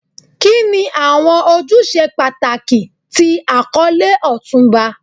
Kini awọn ojuse pataki ti akọle Otunba?